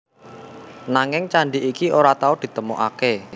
Nanging candhi iki ora tau ditemokaké